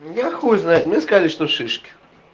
я хуй знает мы сказали что шишки